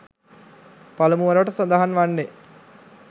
පළමුවරට සඳහන් වන්නේ